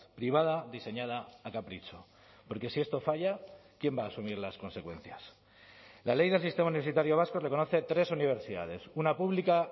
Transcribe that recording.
privada diseñada a capricho porque si esto falla quién va a asumir las consecuencias la ley del sistema universitario vasco reconoce tres universidades una pública